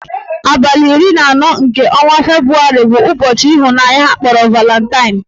Abalị iri na anọ nke ọnwa Febrụwarị bụ ụbọchị ịhụnanya akpọrọ Valantain